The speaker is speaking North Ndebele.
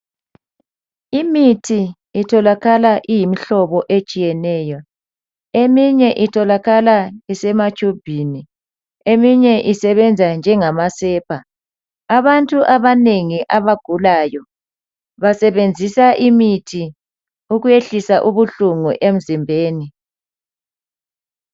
Imithi itholakala iyimihlobo etshiyeneyo eminye itholakala isematshubhini eminye isebenza njengama sepa ,abantu abanengi abagulayo basebenzisa imithi ukwehlisa ubuhlungu emzimbeni.